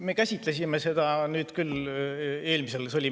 Me käsitlesime seda küll eelmisel korral.